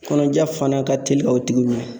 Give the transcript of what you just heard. Kɔnɔja fana ka telin ka o tigi minɛ.